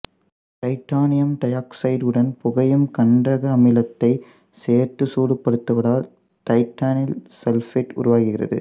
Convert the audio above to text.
titanium டையாக்சைடுடன் புகையும் கந்தக அமிலத்தைச் சேர்த்து சூடுபடுத்துவதால் தைட்டனைல் சல்பேட்டு உருவாகிறது